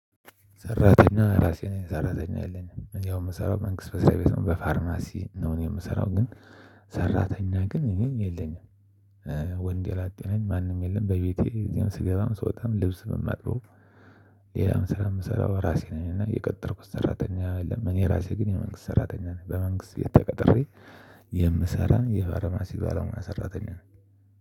ሰራተኛ እራሴ ነኝ ሰራተኛ የለኝም ያው የምሰራው መንግስት መስሪያ ቤት ነው በፋርማሲ ነው እኔ የምሰራው ግን ሰራተኛ ግን የለኝም። ወንድ ላጤ ነኝ ማንም የለም በቤቴ እዚያም ስገባም ስወጣም ልብስ ነው የማጥበው። ሌላም ስራ የምሰራው እራሴ ነኝ እና የቀጠርኩት ሰራተኛ የለም እራሴ ግን የመንግስት ሰራተኛ ነኝ። በመንግስት ተቀጥሬ የምሰራ የፋርማሲ ባለሙያ ሰራተኛ ነኝ